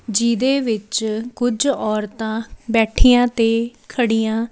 ਜਿਹਦੇ ਵਿੱਚ ਕੁਝ ਔਰਤਾਂ ਬੈਠੀਆਂ ਤੇ ਖੜੀਆਂ--